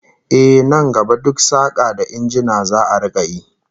Ehh, nan gaba duk saka da injina za'a rika yi